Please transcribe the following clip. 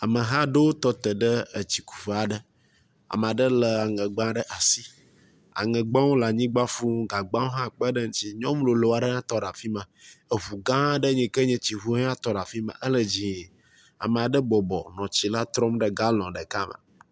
Ameha aɖewo tɔte ɖe etsikuƒe aɖe. Ame aɖe le aŋegba ɖe asi. Aŋegbawo le anyigba fuu gagbawo hã kpe ɖe eŋutsi. Nyɔnu lolo aɖe hã tɔ ɖe afi ma. Eŋu gã aɖe eyi ke nye etsi ŋu hã tɔ ɖe afi ma ele dzie. Ame aɖe bɔbɔ nɔ tsi la trɔm ɖe galɔn ɖeka me.